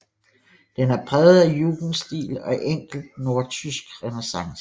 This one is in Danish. Den er præget af jugendstil og enkelt nordtysk renæssance